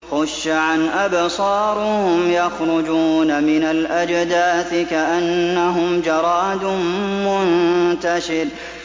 خُشَّعًا أَبْصَارُهُمْ يَخْرُجُونَ مِنَ الْأَجْدَاثِ كَأَنَّهُمْ جَرَادٌ مُّنتَشِرٌ